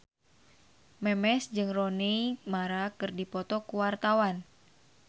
Memes jeung Rooney Mara keur dipoto ku wartawan